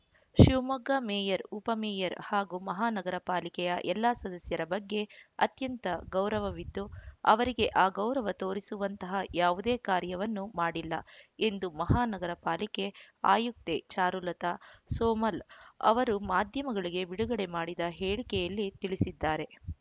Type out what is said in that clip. Shivamogga mayor ಉಪ mayor ಹಾಗೂ ಮಹಾನಗರ ಪಾಲಿಕೆಯ ಎಲ್ಲಾ ಸದಸ್ಯರ ಬಗ್ಗೆ ಅತ್ಯಂತ ಗೌರವವಿದ್ದು ಅವರಿಗೆ ಅಗೌರವ ತೋರಿಸುವಂತಹ ಯಾವುದೇ ಕಾರ್ಯವನ್ನು ಮಾಡಿಲ್ಲ ಎಂದು ಮಹಾನಗರ ಪಾಲಿಕೆ ಆಯುಕ್ತೆ ಚಾರುಲತಾ ಸೋಮಲ್‌ ಅವರು ಮಾಧ್ಯಮಗಳಿಗೆ ಬಿಡುಗಡೆ ಮಾಡಿದ ಹೇಳಿಕೆಯಲ್ಲಿ ತಿಳಿಸಿದ್ದಾರೆ